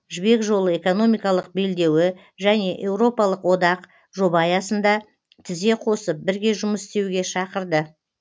жібек жолы экономикалық белдеуі және еуропалық одақ жоба аясында тізе қосып бірге жұмыс істеуге шақырды